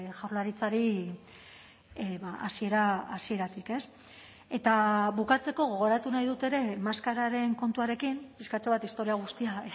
jaurlaritzari hasiera hasieratik ez eta bukatzeko gogoratu nahi dut ere maskararen kontuarekin pixkatxo bat historia guztia